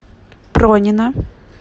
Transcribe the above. пронина